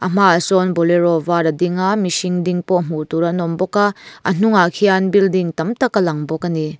a hmaah sawn bolero var a ding a mihring ding pawh hmuh tur an awm bawk a a hnungah khian building tam tak alang bawk a ni.